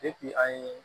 an ye